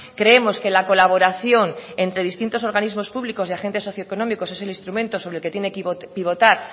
creemos que la colaboración entre distintos organismos públicos y agentes socioeconómicos es el instrumento sobre el que tiene que pivotar